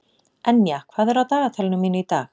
Enja, hvað er á dagatalinu mínu í dag?